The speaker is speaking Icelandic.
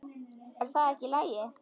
Er það ekki í lagi?